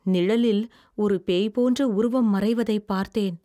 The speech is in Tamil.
நிழலில் ஒரு பேய் போன்ற உருவம் மறைவதைப் பார்த்தேன்.